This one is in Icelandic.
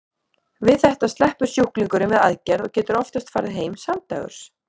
Við þetta sleppur sjúklingurinn við aðgerð og getur oftast farið heim samdægurs.